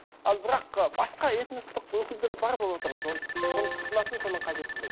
ал бірақ ы басқа этностық өкілдері бар болып отыр ғой сол соны тұтынатын соны қажеттілігі